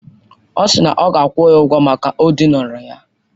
Ọ sịrị na ọ ga-akwụ ya ụgwọ maka o dinara ya.